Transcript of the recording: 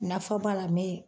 Nafa b'a la bɛ